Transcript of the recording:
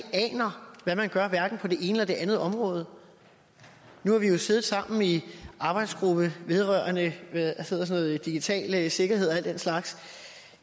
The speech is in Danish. aner hvad man gør hverken på det ene eller det andet område nu har vi jo siddet sammen i arbejdsgruppen vedrørende digital sikkerhed og al den slags